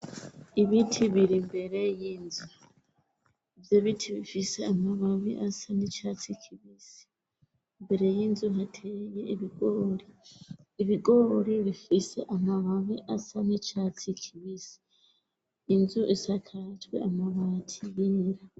ibiti biri mbere y'inzu ivyo iti bifise amababi asa n'icyatsi kibisi. Mbere y'inzu hateye iibigori bifise amababi asa ni catsi kibisi inzu isakajwe amabati yera.